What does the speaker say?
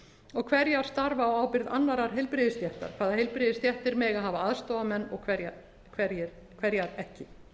og hverjar starfa á ábyrgð annarrar heilbrigðisstéttar hvaða heilbrigðisstéttir mega hafa aðstoðarmenn og hverjar ekki